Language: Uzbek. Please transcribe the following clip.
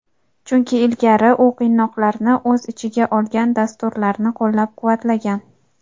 chunki ilgari u qiynoqlarni o‘z ichiga olgan dasturlarni qo‘llab-quvvatlagan.